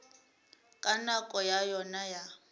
ka nako ya yona ya